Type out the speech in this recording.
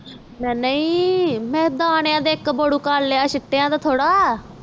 ਨਹੀਂ ਮੈਂ ਦਾਣਿਆਂ ਦਾ ਇਕ ਬੋਰਉ ਕਰਲਿਆ ਚਿਟਾ ਦਾ ਥੋੜ੍ਹਾ